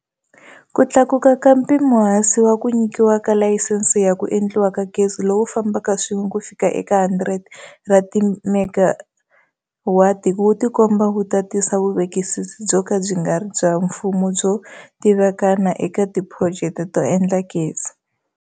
Ku tlakuka ka mpimohansi wa ku nyikiwa ka layisense ya ku endliwa ka gezi lowu fa mbaka swin'we kufika eka 100 ra timegawati wu tikomba wu ta tisa vuvekisi byo ka byi nga ri bya mfumo byo tivikana eka tiphurojeke to endla gezi.